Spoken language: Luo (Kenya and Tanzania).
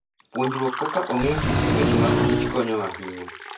Puonjruok kaka ong'eyo kit chwech mag kich konyo ahinya.